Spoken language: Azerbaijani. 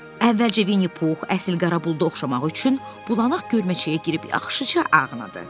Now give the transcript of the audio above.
Əvvəlcə Vinni Pux əsl qara buluda oxşamaq üçün bulanaq görməçəyə girib yaxşıca ağnadı.